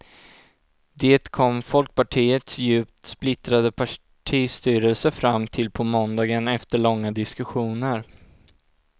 Det kom folkpartiets djupt splittrade partistyrelse fram till på måndagen efter långa diskussioner.